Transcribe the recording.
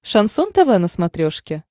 шансон тв на смотрешке